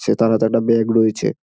সেতার হাতে একটা ব্যাগ রয়েছে।